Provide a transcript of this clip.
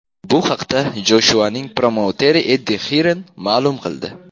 Bu haqda Joshuaning promouteri Eddi Hirn ma’lum qildi .